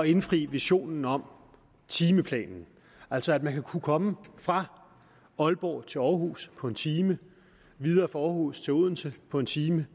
indfri visionen om timeplanen altså at man vil kunne komme fra aalborg til aarhus på en time videre fra aarhus til odense på en time